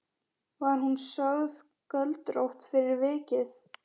Var hún sögð göldrótt fyrir vikið.